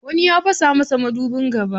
Wani ya fasa masa madubin gaba.